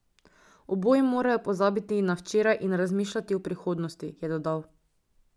Oboji morajo pozabiti na včeraj in razmišljati o prihodnosti, je dodal.